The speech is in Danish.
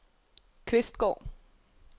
Kvistgård